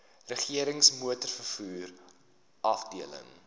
regerings motorvervoer afdeling